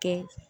Kɛ